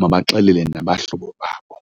mabaxelele nabahlobo babo.